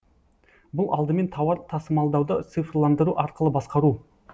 бұл алдымен тауар тасымалдауды цифрландыру арқылы басқару